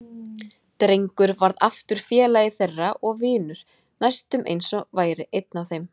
Drengur varð aftur félagi þeirra og vinur, næstum eins og hann væri einn af þeim.